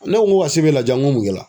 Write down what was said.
Ne ko ko ka sebe laja n ko mun kɛra